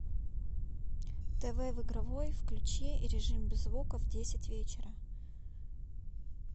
тв в игровой включи режим без звука в десять вечера